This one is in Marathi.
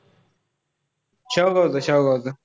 शेवगावच, शेवगावच.